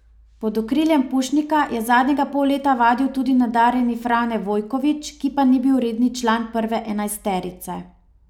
Pod okriljem Pušnika je zadnjega pol leta vadil tudi nadarjeni Frane Vojković, ki pa ni bil redni član prve enajsterice.